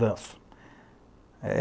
Danço.